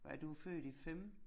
Og er du født i 5?